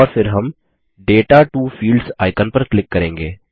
और फिर हम दाता टो फील्ड्स आइकन पर क्लिक करेंगे